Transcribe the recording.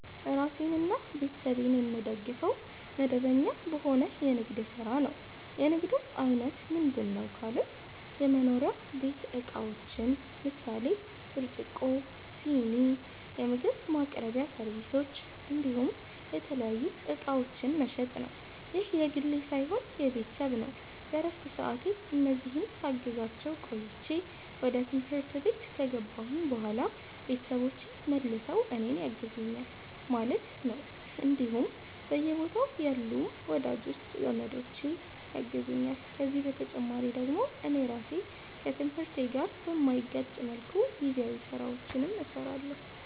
ራሴንና ቤተሰቤን የምደግፈዉ፦ መደበኛ በሆነ የንግድ ስራ ነዉ። የንግዱም አይነት ምንድነዉ ካሉኝ የመኖሪያ ቤት እቃዎችን ምሳሌ፦ ብርጭቆ, ስኒ, የምግብ ማቅረቢያ ሰርቪሶች እንዲሁም የተለያዩ እቃዎችን መሸጥ ነዉ። ይህ የግሌ ሳይሆን የቤተሰብ ነዉ በረፍት ሰዓቴ እነዚህን ሳግዛቸዉ ቆይቼ ወደ ትምህርት ከገባሁኝ በኋላ ቤተሰቦቼ መልሰዉ እኔን ያግዙኛል ማለት ነዉ እንዲሁም በየቦታዉ ያሉም ወዳጅ ዘመዶቼ ያግዙኛል ከዚህ በተጨማሪ ደግሞ እኔ ራሴ ከትምህርቴ ጋር በማይጋጭ መልኩ ጊዜያዊ ስራዎችንም ሰራለሁኝ